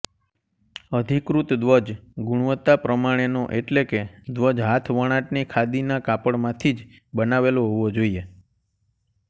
અધિકૃત ધ્વજ ગુણવતા પ્રમાણેનો એટલે કે ધ્વજ હાથ વણાટની ખાદીનાં કાપડમાંથીજ બનાવેલો હોવો જોઇએ